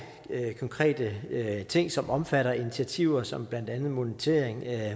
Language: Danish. konkrete ting som omfatter initiativer som blandt andet monitorering af